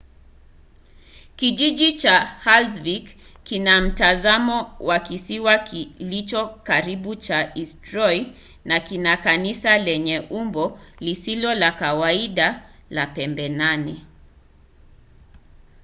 kijiji cha haldarsvik kina mtazamo wa kisiwa kilicho karibu cha eysturoi na kina kanisa lenye umbo lisilo la kawaida la pembe nane